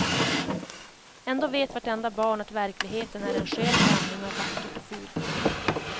Ändå vet vartenda barn att verkligheten är en skön blandning av vackert och fult.